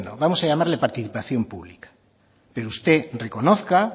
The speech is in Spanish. vamos a llamarle participación pública pero usted reconozca